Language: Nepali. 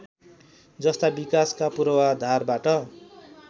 जस्ता विकासका पूर्वाधारबाट